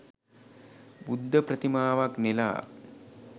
බුද්ධ ප්‍රතිමාවක් නෙලා